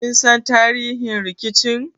Kin san tarihin rikicin?